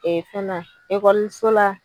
Ee fɛna so la.